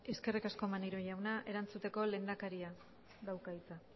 eskerrik asko maneiro jauna erantzuteko lehendakariak dauka hitza